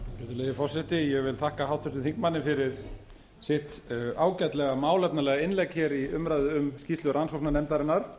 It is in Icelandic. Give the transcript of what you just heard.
virðulegi forseti ég vil þakka háttvirtum þingmanni fyrir sitt ágætlega málefnalega innlegg hér í umræðu um skýrslu rannsóknarnefndarinnar